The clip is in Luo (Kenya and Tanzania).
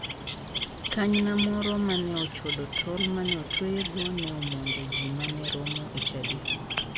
Kanyna moro ma ne ochodo tol mane otweyego ne omonjo ji mane romo e chadi.